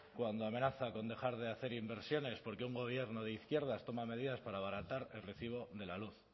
cuando amenaza con dejar de hacer inversiones porque un gobierno de izquierdas toma medidas para abaratar el recibo de la luz